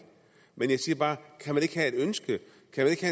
men jeg siger bare kan man ikke have et ønske